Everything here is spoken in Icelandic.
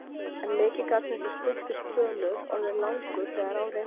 en mikið gat þessi stutti spölur orðið langur þegar á reyndi.